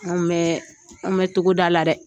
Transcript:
An bɛ, an bɛ togoda la dɛ.